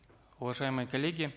уважаемые коллеги